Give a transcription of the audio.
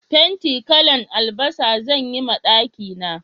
Fenti kalan albasa zan yi ma daki na